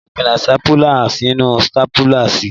Máa fi píìnì stápùlà sínú stápùlà si.